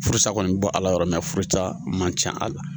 Furusa kɔni bɔ Ala yɔrɔ furu man can a la.